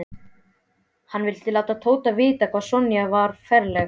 Hann vildi láta Tóta vita hvað Sonja var ferleg.